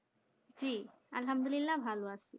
জি আলহামদুলিল্লাহ ভালো আছি